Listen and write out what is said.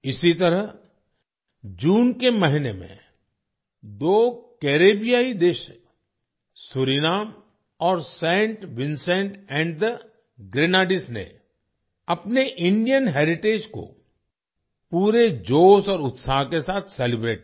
इसी तरह जून के महीने में दो कैरेबियाई देश सूरीनाम और Saint Vincent and the Grenadines ने अपने इंडियन हेरिटेज को पूरे जोश और उत्साह के साथ सेलिब्रेट किया